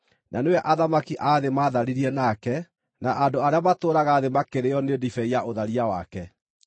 Na nĩwe athamaki a thĩ maatharirie nake, na andũ arĩa matũũraga thĩ makarĩĩo nĩ ndibei ya ũtharia wake.”